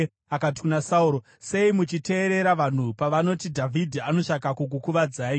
Akati kuna Sauro, “Sei muchiteerera vanhu pavanoti, ‘Dhavhidhi anotsvaka kukukuvadzai?’